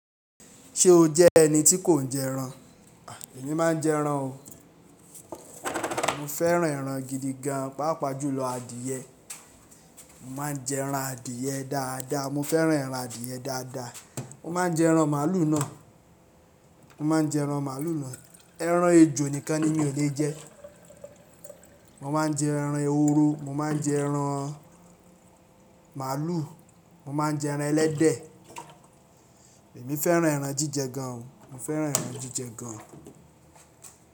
Ṣé o jẹ́ ẹni tí kò ń jẹ ẹran? Èmi má ń jẹ ẹran o. Mo fẹ́ràn ẹran gidi gan, pàápàá jùlọ adìẹ. Mo má ń jẹ ẹran adìẹ dáadáa. Mo fẹ́ràn ẹran adìẹ dáadáa. Mo má ń jẹ ẹran màlúù náà. Mo má ń jẹ ẹran màlúù náà. Ẹran ejò nìkan ni mí ò lè jẹ. Mo má ń jẹ ẹran ehoró, mo má ń jẹ ẹran màlúù, mo má ń jẹ ẹran ẹlẹ́dẹ̀. Èmi fẹ́ràn ẹran jíjẹ gan. Mo fẹ́ràn ẹran jíjẹ gan.